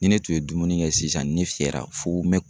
Ni ne tun ye dumuni kɛ sisan ni ne fiyɛra fo n bɛ